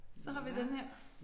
Så har vi den her